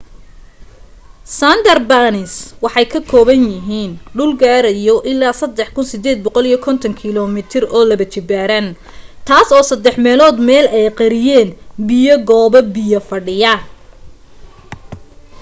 sundarbans waxay ka kooban yahiin dhul gaarayo ilaaa 3,850km² taas oo saddex meelood meel ay qariyeen biyo/goobo biyo fadhiyaan